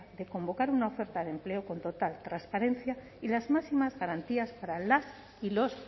de convocar una oferta de empleo con total transparencia y las máximas garantías para las y los